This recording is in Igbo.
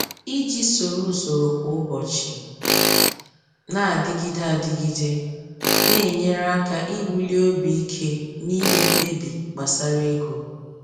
Iji soro usoro kwa ụbọchị na-adịgide adịgide na-enyere aka iwuli obi ike n’ime mkpebi gbasara ego.